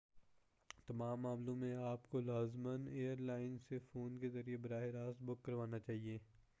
تمام معاملوں میں آپ کو لازماً ایئر لائن سے فون کے ذریعہ براہ راست بُک کروانا چاہیئے